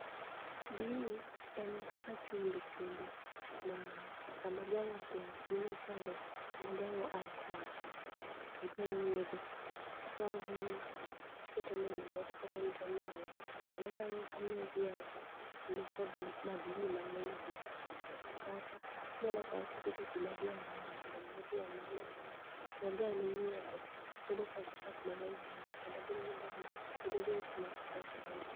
Gini en kaka chumbi chumbi ma sa madhiang' osea chiemo chande, sa madhiang'o ae kwath to idwa nyiedho. To ikawo gini, tiketo ne e gimoro, tiketo ne to onang'o. Sama onang'o to omiyo dhiang' ni kod madini mang'eny e dende. Kata inyalo kao tikete pi madhiang' modho to miyo dhiang' ni madini, kendo dhiang' minyiedho bedo kod chak mang'eny ahinya, kendo bedo gi dhiang' ma bedo gi ngima maber ahinya.